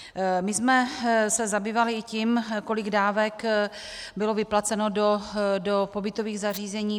My jsme se zabývali i tím, kolik dávek bylo vyplaceno do pobytových zařízení.